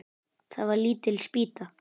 Það var lítil spýta.